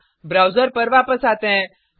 अब ब्राउज़र पर वापस आते हैं